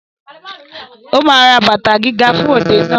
Ó ma ra bàtà gíga fún òde náà